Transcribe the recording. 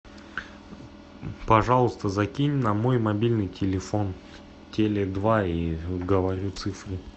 пожалуйста закинь на мой мобильный телефон теле два и говорю цифры